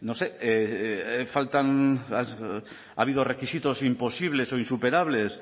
sé faltan las ha habido requisitos imposibles o insuperables